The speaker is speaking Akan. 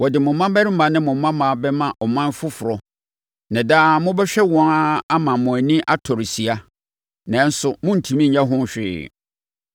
Wɔde mo mmammarima ne mo mmammaa bɛma ɔman foforɔ na daa mobɛhwɛ wɔn ara ama mo ani atɔre sia, nanso morentumi nyɛ ho hwee.